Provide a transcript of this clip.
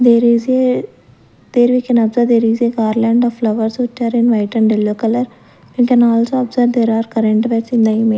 there is a there we can observe there is a garland of flowers which are in white and yellow colour then also observe there are current wires in the ima--